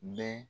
Bɛɛ